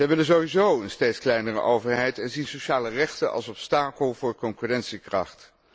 Zij willen sowieso een steeds kleinere overheid en zien sociale rechten als obstakel voor concurrentiekracht.